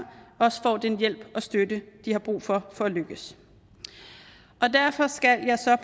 også får den hjælp og støtte de har brug for for at lykkes derfor skal jeg